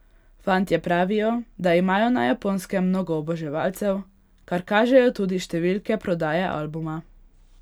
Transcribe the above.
Fantje pravijo, da imajo na Japonskem mnogo oboževalcev, kar kažejo tudi številke prodaje albuma.